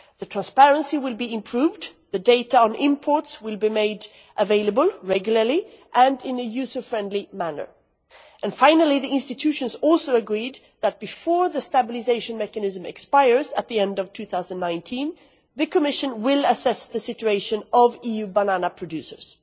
Transparency will be improved, and data on imports will be made regularly available and in a user-friendly manner. Finally, the institutions also agreed that before the stabilisation mechanism expires at the end of 2019, the Commission will assess the situation of EU banana producers.